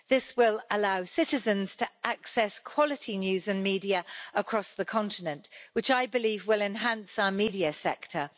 This will allow citizens to access quality news and media across the continent, which I believe will enhance our media sector.